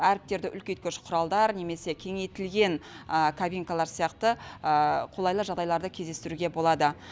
әріптерді үлкейткіш құралдар немесе кеңейтілген кабинкалар сияқты қолайлы жағдайларды кездестіруге болады